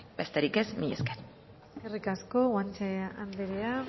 besterik ez mila esker eskerrik asko guanche andrea